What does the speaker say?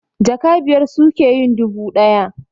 Jaka biyar suke yin dubu ɗaya